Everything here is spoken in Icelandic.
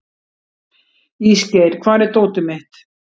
Ísgeir, hvar er dótið mitt?